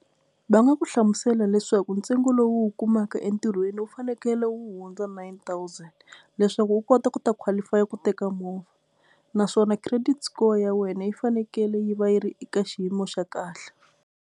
Va nga ku hlamusela leswaku ntsengo lowu u wu kumaka entirhweni wu fanekele wu hundza nine thousand leswaku u kota ku ta qualify ku teka movha naswona credit score ya wena yi fanekele yi va yi ri eka xiyimo xa kahle.